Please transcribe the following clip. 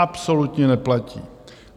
Absolutně neplatí!